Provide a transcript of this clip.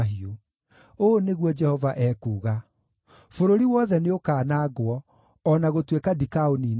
Ũũ nĩguo Jehova ekuuga: “Bũrũri wothe nĩũkanangwo, o na gũtuĩka ndikaũniina biũ.